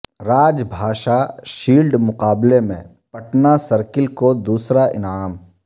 راج Bhasha shield مقابلہ میں Patna circle کو دوسرا انعام